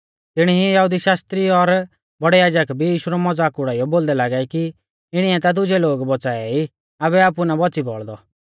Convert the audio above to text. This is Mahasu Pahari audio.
तिणी ई यहुदी शास्त्री और बौड़ै याजक भी यीशु रौ मज़ाक उड़ाइयौ बोलदै लागै कि इणीऐ ता दुजै लोग बौच़ाऐ ई आबै आपु ना बौच़ी बौल़दौ